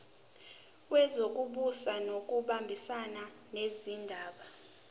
wezokubusa ngokubambisana nezindaba